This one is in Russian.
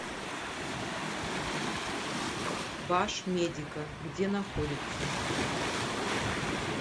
башмедика где находится